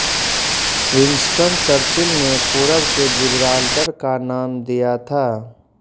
Winston Churchill ने पूरब के जिब्राल्टर का नाम दिया था